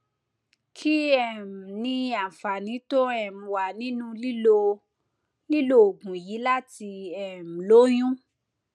kí um ni àǹfààní tó um wà nínú lílo lílo oògùn yìí láti um lóyún